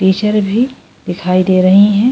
Teacher भी दिखाई दे रही है ।